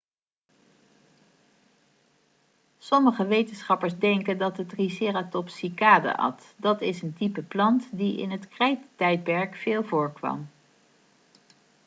sommige wetenschappers denken dat de triceratops cycaden at dat is een type plant die het krijttijdperk veel voorkwam